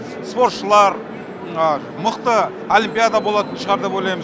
спортшылар мықты олимпиада болатын шығар деп ойлаймыз